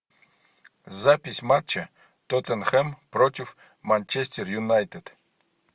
запись матча тоттенхэм против манчестер юнайтед